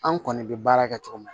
An kɔni bɛ baara kɛ cogo min na